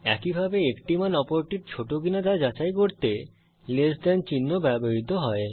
একইভাবে একটি মান অপরটির ছোট কিনা তা যাচাই করতে লেস দেন চিহ্ন ব্যবহৃত হয়